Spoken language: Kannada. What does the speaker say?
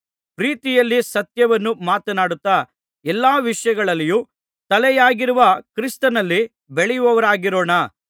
ಪ್ರೀತಿಯಲ್ಲಿ ಸತ್ಯವನ್ನು ಮಾತನಾಡುತ್ತಾ ಎಲ್ಲಾ ವಿಷಯಗಳಲ್ಲಿಯೂ ತಲೆಯಾಗಿರುವ ಕ್ರಿಸ್ತನಲ್ಲಿ ಬೆಳೆಯುವವರಾಗಿರೋಣ